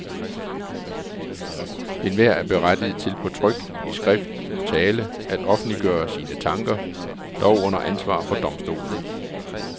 Enhver er berettiget til på tryk, i skrift og tale at offentliggøre sine tanker, dog under ansvar for domstolene.